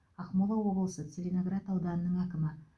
ақмола облысы целиноград ауданының әкімі